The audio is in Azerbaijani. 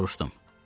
Soruşdum.